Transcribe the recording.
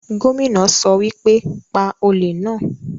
Gómìnà sọ wípé, 'Pa olè náà'